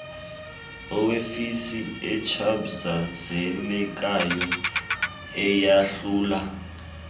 yeofisi echaphazelekayo eyahlula